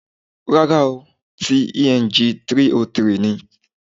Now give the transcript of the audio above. Rárá ooo, ti Eng 303 ni